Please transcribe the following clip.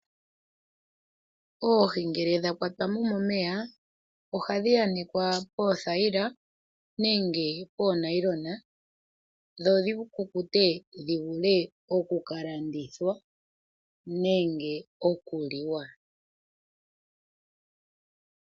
Oohi ngele dha kwatwa mo momeya ofhii